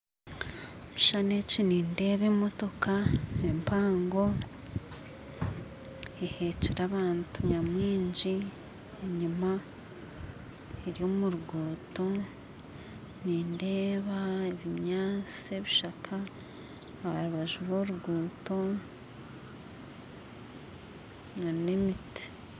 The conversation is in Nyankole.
Omu kishushani eki nindeeba emotoka empaango ehekire abantu nyamwingi enyuma eri omu ruguuto nindeeba ebinyaatsi ebishaka ha rubaju rwa oruguuto na n'emiti